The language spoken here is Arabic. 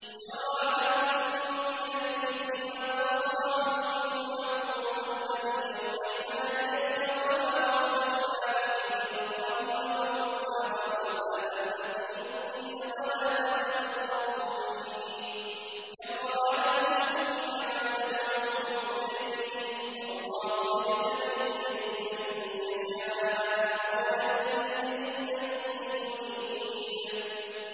۞ شَرَعَ لَكُم مِّنَ الدِّينِ مَا وَصَّىٰ بِهِ نُوحًا وَالَّذِي أَوْحَيْنَا إِلَيْكَ وَمَا وَصَّيْنَا بِهِ إِبْرَاهِيمَ وَمُوسَىٰ وَعِيسَىٰ ۖ أَنْ أَقِيمُوا الدِّينَ وَلَا تَتَفَرَّقُوا فِيهِ ۚ كَبُرَ عَلَى الْمُشْرِكِينَ مَا تَدْعُوهُمْ إِلَيْهِ ۚ اللَّهُ يَجْتَبِي إِلَيْهِ مَن يَشَاءُ وَيَهْدِي إِلَيْهِ مَن يُنِيبُ